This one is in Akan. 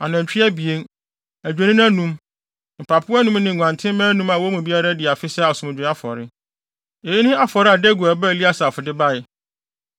anantwi abien, adwennini anum, mpapo anum ne nguantenmma anum a wɔn mu biara adi afe sɛ asomdwoe afɔre. Eyi ne afɔre a Deguel ba Eliasaf de bae.